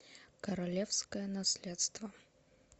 королевское наследство